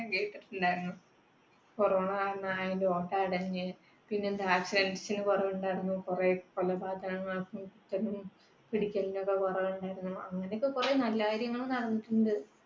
corona കുറവുണ്ടായിരുന്നു. പിന്നെ കൊലപാതകങ്ങൾക്കും പിടിക്കലിനുമൊക്കെ കുറവ് ഉണ്ടായിരുന്നു. അങ്ങനെയൊക്കെ കുറെ നല്ല കാര്യങ്ങൾ നടന്നിട്ടുണ്ട്.